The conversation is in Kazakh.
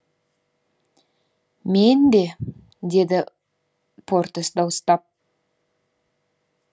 мен де деді портос дауыстап